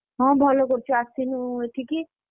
ହଁ ଭଲ କରିଛୁ ଆସିନୁ ଏଠିକି,